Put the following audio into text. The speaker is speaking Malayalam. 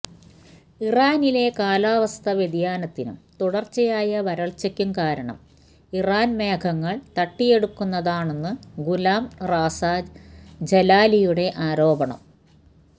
ഇറാനിലെ കാലാവസ്ഥ വ്യതിയാനത്തിനും തുടർച്ചയായ വരൾച്ചയ്ക്കും കാരണം ഇറാൻ മേഘങ്ങൾ തട്ടിയെടുക്കുന്നതാണെന്നാണു ഗുലാം റസാ ജലാലിയുടെ ആരോപണം